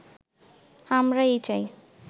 আমরা এই চাই